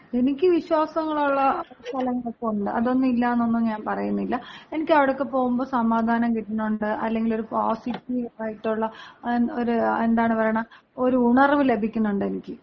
എനിക്ക് വിശ്വാസങ്ങളുള്ള സ്ഥലങ്ങളൊക്കെയുണ്ട്. അതൊന്നും ഇല്ലാന്നൊന്നും ഞാൻ പറയുന്നില്ല. എനിക്ക് അവിടെയൊക്കെ പോകുമ്പോ സമാധാനം കിട്ടണുണ്ട്, അല്ലെങ്കി ഒരു പോസിറ്റീവായിട്ടുള്ള ഒരു എന്താണ് പറയണ ഒരു ഉണർവ്വ് ലഭിക്കണുണ്ടെനിക്ക്.